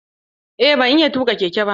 Aa ban iya tuƙa keke ba.